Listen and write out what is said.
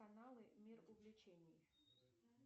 каналы мир увлечений